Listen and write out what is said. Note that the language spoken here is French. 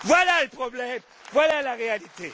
Voilà le problème, voilà la réalité.